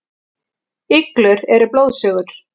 Iglur eru blóðsugur.